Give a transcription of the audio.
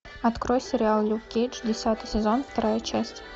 открой сериал люк кейдж десятый сезон вторая часть